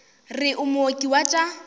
re o mooki wa tša